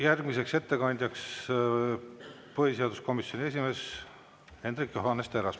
Järgmiseks ettekandjaks palun põhiseaduskomisjoni esimehe Hendrik Johannes Terrase.